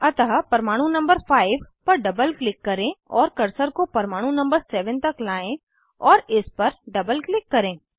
अतः परमाणु नंबर 5 पर डबल क्लिक करें और कर्सर को परमाणु नंबर 7 तक लाएं और इस पर डबल क्लिक करें